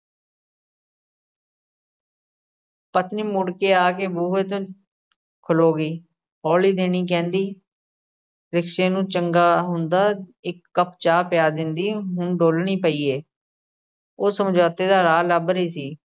ਪਤਨੀ ਮੁੜ ਕੇ ਆ ਕੇ ਬੂਹੇ ਤੇ ਖਲੋ ਗਈ ਹੌਲੀ ਦੇਣੀ ਕਹਿੰਦੀ rickshaw ਨੂੰ ਚੰਗਾ ਹੁੰਦਾ ਇੱਕ ਕੱਪ ਚਾਹ ਪਿਆ ਦਿੰਦੀ, ਹੁਣ ਡੋਲਣੀ ਪਈ ਏ। ਉਹ ਸਮਝੌਤੇ ਦਾ ਰਾਹ ਲੱਭ ਰਹੀ ਸੀ।